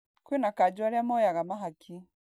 Kwĩna kanjo aria moyaga mahaki.